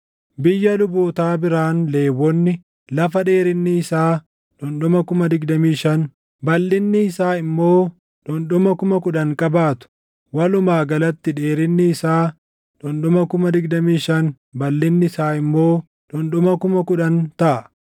“Biyya lubootaa biraan Lewwonni lafa dheerinni isaa dhundhuma 25,000, balʼinni isaa immoo dhundhuma 10,000 qabaatu. Walumaa galatti dheerinni isaa dhundhuma 25,000 balʼinni isaa immoo dhundhuma 10,000 taʼa.